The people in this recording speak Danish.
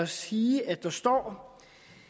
sige at der står